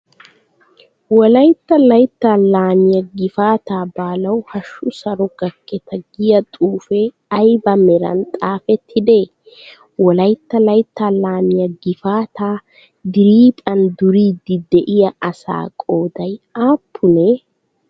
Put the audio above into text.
Wolaytta laytta laamiyaa gifaataa baalawu hashshu saro gakketa giyaa xuufee ayiba meran xaafettidee? Wolayitta layittaa laamiyaa gifaataa diriiphan duriiddi de'iyaa asaa qoodayi aappunee?